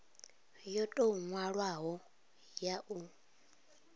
yo tou nwalwaho ya u